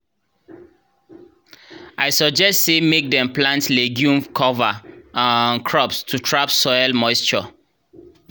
i suggest sey mek dem plant legume cover um crops to trap soil moisture